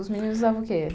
Os meninos usavam o quê?